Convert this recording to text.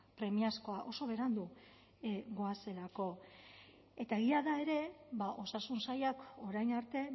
premiazkoa oso berandu goazelako eta egia da ere ba osasun sailak orain arte